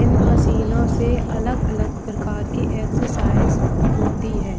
इन मशीनो से अलग-अलग प्रकार की एक्सरसाइज होती हैं ।